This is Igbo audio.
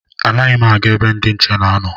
Anaghị m aga ebe ndị nche na-anọ